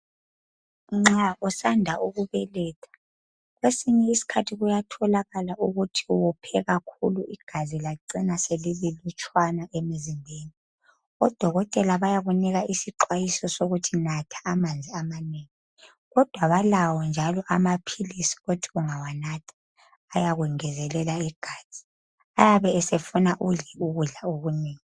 nxa usanda ukubeletha kwesinye isikhathi kuyatholakala ukuthi u wophe kakhulu igazi lacina selililutshwana emizimbeni odokotela bayakunika isixwayiso sokuthi natha amanzi amanengi kodwa balawo njalo amaphilisi othi ungawanatha ayakungezelela igazi ayabe esefuna udle ukudla okunengi